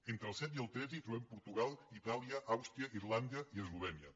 entre el set i el tretze hi trobem portugal itàlia àustria irlanda i eslovènia